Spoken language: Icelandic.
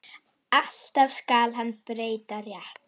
Alltaf skal hann breyta rétt.